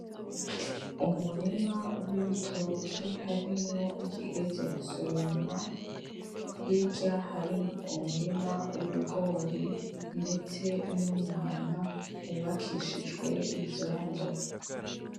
Umurima wibitoke harimo ikigeze gusoromwa , hirya hari umurima wibigori ndetse numuhana wubakishije ivyondo .